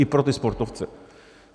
I pro ty sportovce.